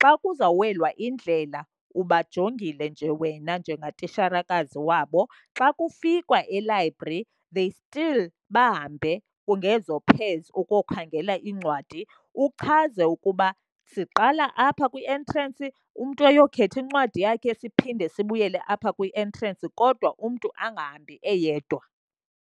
Xa kuzawuwelwa indlela ubajongile nje wena njengatitshalakazi wabo. Xa kufikwa e-library, they still bahambe ngezo pairs ukokhangela iincwadi. Uchaze ukuba siqala apha kwi-entrance, umntu ayokhetha incwadi yakhe siphinde sibuyele apha kwi-entrance, kodwa umntu angahambi eyedwa.